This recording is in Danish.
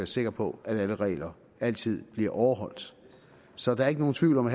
sikker på at alle regler altid bliver overholdt så der er ikke nogen tvivl om at